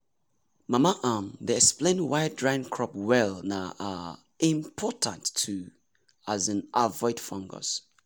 mama um dey explain why drying crop well na um important to um avoid fungus.